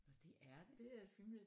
Nåh det er det